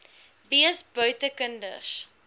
wees buite kinders